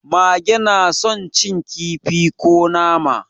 Mage na son cin kifi ko nama.